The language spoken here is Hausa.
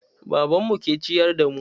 Babanmu ke ciyar da mu.